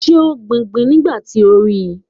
Was she planting when you saw her?